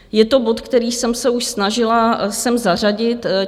Je to bod, který jsem se už snažila sem zařadit.